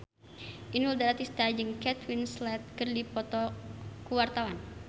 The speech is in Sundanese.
Inul Daratista jeung Kate Winslet keur dipoto ku wartawan